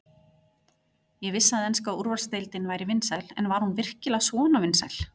Ég vissi að enska úrvalsdeildin væri vinsæl en var hún virkilega svona vinsæl?